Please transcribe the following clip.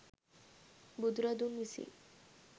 බුදු රදුන් විසින්